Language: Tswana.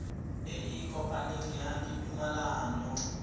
e e kopaneng ya ditumalano